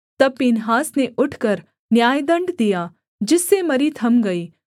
तब पीनहास ने उठकर न्यायदण्ड दिया जिससे मरी थम गई